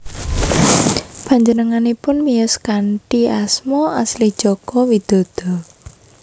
Panjenenganipun miyos kanthi asma asli Joko Widodo